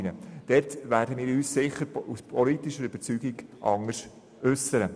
Dazu werden wir uns aus politsicher Überzeugung sicher anders äussern.